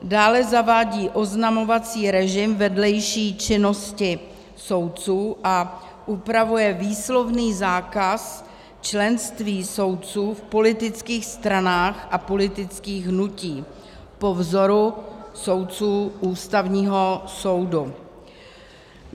Dále zavádí oznamovací režim vedlejší činnosti soudců a upravuje výslovný zákaz členství soudců v politických stranách a politických hnutích po vzoru soudců Ústavního soudu.